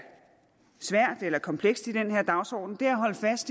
svært eller komplekst i den her dagsorden